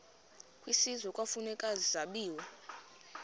kwisizwe kufuneka zabiwe